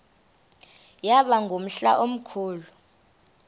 yaba ngumhla omkhulu